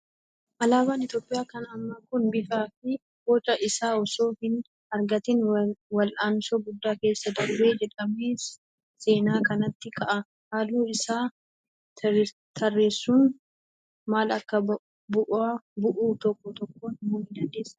Alaabaan Itoophiyaa kan ammaa kun bifaa fi boca isaa osoo hin argatiin wal'aansoo guddaa keessa darbe jedhamee seenaa keessatti ka'a. Halluu isaa tarreessuun maal akka bu'u tokko tokkoon himuu ni dandeessaa?